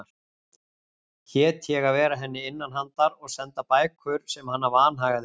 Hét ég að vera henni innanhandar og senda bækur sem hana vanhagaði um.